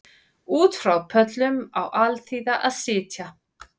Út frá pöllum á alþýða að sitja